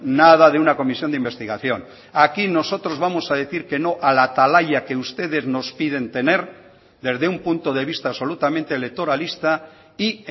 nada de una comisión de investigación aquí nosotros vamos a decir que no a la atalaya que ustedes nos piden tener desde un punto de vista absolutamente electoralista y